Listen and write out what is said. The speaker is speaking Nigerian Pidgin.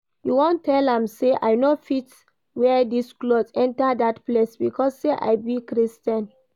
You wan tell me say I no fit wear dis cloth enter dat place because say I be Christian?